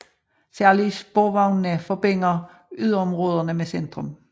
Særlig sporvognene forbinder yderområderne med centrum